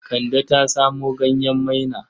Kande ta samo ganyen maina.